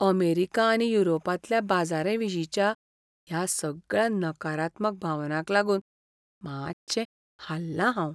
America आनी युरोपांतल्या बाजाराविशींच्या ह्या सगळ्या नकारात्मक भावनांक लागून मातशें हाल्लां हांव.